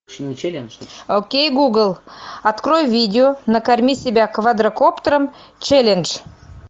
окей гугл открой видео накорми себя квадрокоптером челлендж